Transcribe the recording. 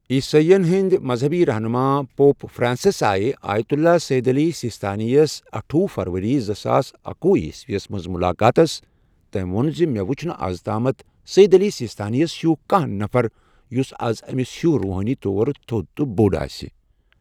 عیسٲیین ہندی مزہبی رہنما پوپ فرانسس آیہ آیت اللہ سید علی سیستانیس اَٹھۄہ فَرؤری زٕساس اکوُہ عیسویس منٛز ملاقاتس تم وون ز مےٖٚ وُچھنہٕ از تامتھ سید علی سیستانیس ہیو کانٛہہ نفر یس از أمس ہیو روحٲنی طور تھوٚد تہ بوٚڈ آسہ۔